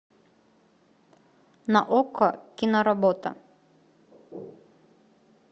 на окко киноработа